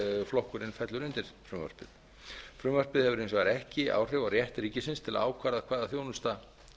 flokkurinn fellur undir frumvarpið frumvarpið hefur hins vegar ekki áhrif á rétt ríkisins á að ákvarða hvaða þjónusta